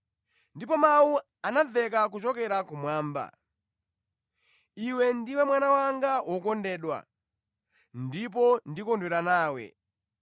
Ndipo Mawu anamveka kuchokera kumwamba: “Iwe ndiwe Mwana wanga wokondedwa; ndipo ndikondwera nawe.”